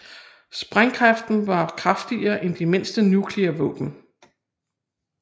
Sprængkraften var kraftigere end de mindste nukleare våben